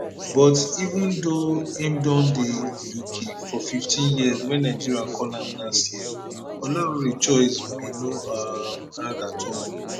but even though im don dey uk for 15 years wen nigeria call am last year olaore choice bin no um hard at all